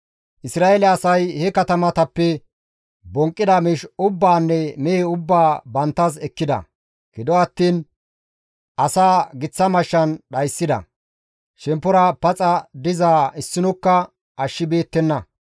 Isra7eele asay he katamatappe bonqqida miish ubbaanne mehe ubbaa banttas ekkida; gido attiin asaa giththa mashshan dhayssida; shemppora paxa dizaa issinokka ashshibeettenna.